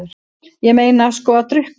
Ég meina sko að drukkna?